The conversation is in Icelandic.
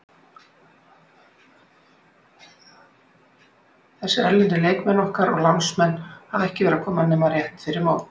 Þessir erlendu leikmenn okkar og lánsmenn hafa ekki verið að koma nema rétt fyrir mót.